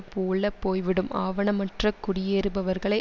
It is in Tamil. போல போய்விடும் ஆவணமற்ற குடியேறுபவர்களை